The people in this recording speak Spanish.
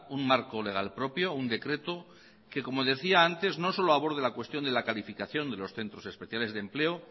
un marco legal propio un decreto que como decía antes no solo aborde la cuestión de la calificación de los centros especiales de empleo